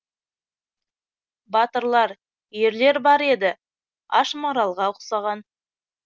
батырлар ерлер бар еді аш маралға ұқсаған